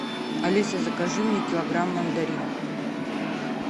алиса закажи мне килограмм мандарин